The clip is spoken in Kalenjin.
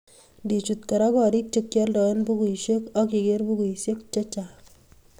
Ngichut Kora gorik che kioldoe bukuisiek ak iger bukuisiek chechang